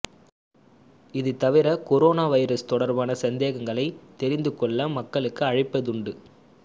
இது தவிர corona virus தொடர்பான சந்தேகங்களை தெரிந்துகொள்ள மக்களும் அழைப்பதுண்டு